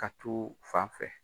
Ka t'u fan fɛ.